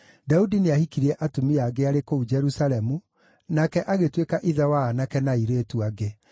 Daudi nĩahikirie atumia angĩ arĩ kũu Jerusalemu, nake agĩtuĩka ithe wa aanake na airĩtu angĩ.